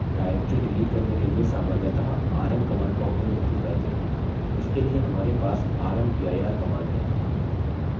directories delete करने के लिए सामान्यतः rm command का उपयोग नहीं करते हैं उसके लिए हमारे पास rmdir command है